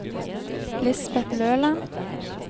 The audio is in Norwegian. Lisbet Løland